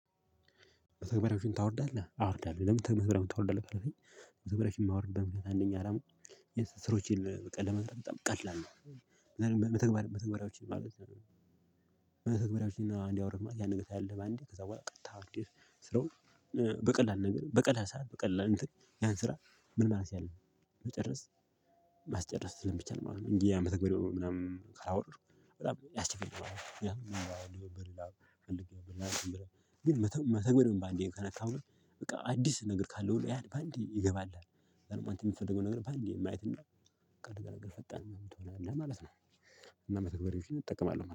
በተግባራዊዎችን ታወርዳለህ አዎ ወኣርዳለሁ ለምን መተግባራዊዎችን ታወርዳለህ ካልከኝ ተግበራዊዎችን የማወርድበት አንደኛ አላማው የስራዎቼን ለመስራት በጣም ቀላል ነው። መተግባራዎች ማለት በተግባራዎች እና አንዴ አወረድክ ማለት ያንን ነገርታያለህ በአንዴ ከዛ በኋላ ቀጥታ እንዲህ ስራው በቀላል ነገር በቀላል ሰዓት በቀላል እንትን ያን ስራ ምን ማለት አለብን መጨረስ ማስጨረስ ስለሚቻል ማለት ነው። እንግዲህ ያንመተግበርያውን ምናምን ካወረድኩ በጣም ያስቸግረናል። ያው በሌላ አምስት ቀን በሌላ እና ግን መተግበር በአንዴ ከነካሁኝ በቃ አዲስ ነገር ካለው ያድ በአንዴ ይገባል። አንተ የምትፈልገው ነገር በአንዴ ማየት እና ፈጣን ምናምን ትሆናለህ ማለት ነው። እና መተግበሪያዎችን እጠቀማለሁ